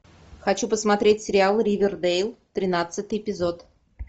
хочу посмотреть сериал ривердейл тринадцатый эпизод